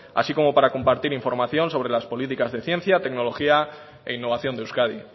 así como para compartir información sobre las políticas de ciencia tecnología e innovación de euskadi